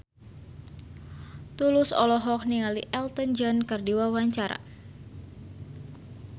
Tulus olohok ningali Elton John keur diwawancara